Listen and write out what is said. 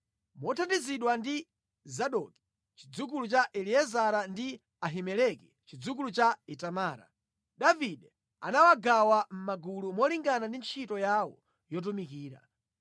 Mothandizidwa ndi Zadoki chidzukulu cha Eliezara ndi Ahimeleki chidzukulu cha Itamara, Davide anawagawa mʼmagulu molingana ndi ntchito yawo yotumikira.